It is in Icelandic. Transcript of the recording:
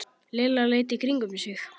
Lilla leit í kringum sig.